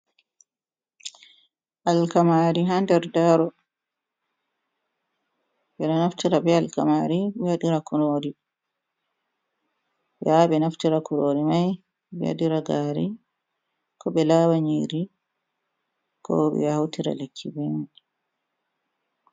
Alkamari ha nder daro, ɓeɗo naftira be alkamari ɓe waɗira kurori ɓe yaha ɓe naftira kurori mai ɓe waɗira gari ko ɓe lawa nyiri ko ɓe hautira lekki be mai.